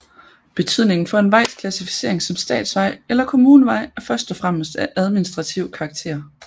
Betydningen for en vejs klassificering som statsvej eller kommunevej er først og fremmest af administrativ karakter